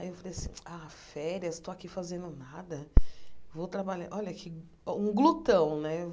Aí eu falei assim, ah, férias, estou aqui fazendo nada, vou trabalhar, olha que, um glutão, né?